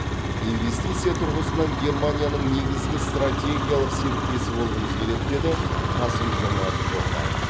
инвестиция тұрғысынан германияның негізгі стратегиялық серіктесі болғымыз келеді деді қасым жомарт тоқаев